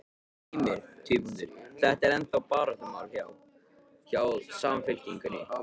Heimir: Þetta er ennþá baráttumál hjá, hjá Samfylkingunni?